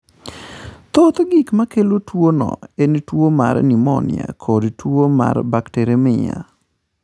Thoth gik makelo tuwono en tuwo mar pneumonia koda tuo mar bacteremia.